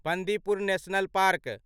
Bandipur national park